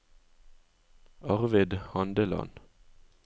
Arvid Handeland